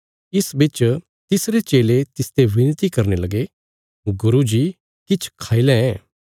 इस बिच तिसरे चेले तिसते बिनती करने लगे गुरू जी किछ खाई लैं